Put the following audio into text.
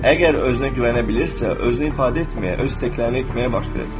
Əgər özünə güvənə bilirsə, özünü ifadə etməyə, öz istəklərini etməyə başlayacaq.